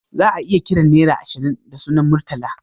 Za'a iya kiran nera ashirin da sunan Murtala